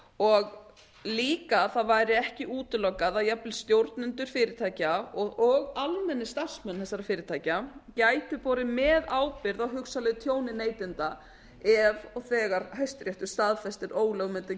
og líka væri ekki útilokað að jafnvel stjórnendur fyrirtækja og almennir starfsmenn þessara fyrirtækja gætu borið meðábyrgð á hugsanlegu tjóni neytenda ef og þegar hæstiréttur staðfestir ólögmæti